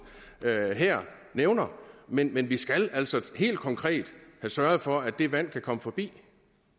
her nævner men men vi skal altså helt konkret have sørget for at det vand kan komme forbi